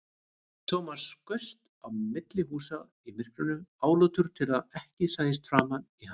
Thomas skaust á milli húsa í myrkrinu, álútur til að ekki sæist framan í hann.